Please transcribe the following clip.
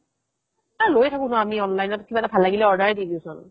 এই লই থাকো ন আমি online ত কিবা এটা ভাল লাগিলে order ৰে দিও চোন